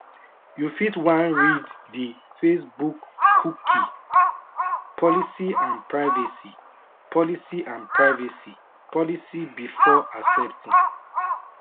you fit wan read di facebookcookie policyandprivacy policyandprivacy policybefore accepting